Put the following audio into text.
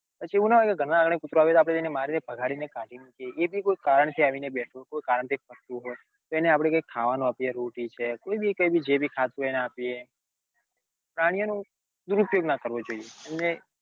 પછી એવું ના હોય કે ગાર ના આંગંણે કુતરવું આવે તો આપડે ને મારીને ભગાડી કદી મૂકીએ એ કોઈં કારણ થી આવીને બેઠું કોઈ કારણ થી તો આપડે ને કૈક ખાવાનું આપીએ રોટી છે કોઈ બી કઈ બ જ ખાતું હોય એ આપીએ પ્રાણીઓ નો દુરુપયોગ ના કરવો જોઈએ એમને